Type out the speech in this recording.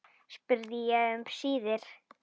spurði ég um síðir.